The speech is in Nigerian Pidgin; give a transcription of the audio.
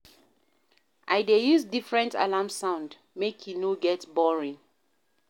I dey use different alarm sound, make e no get boring.